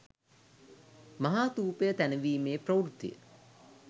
මහාථූපය තැනවීමේ ප්‍රවෘත්තිය